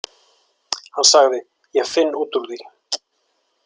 Hann sagði: Ég finn út úr því.